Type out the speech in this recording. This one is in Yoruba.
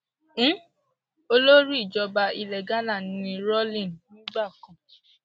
um olórí ìjọba ilẹ ghana ni rawling nígbà kan